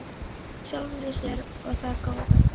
í sjálfri sér- og það góða.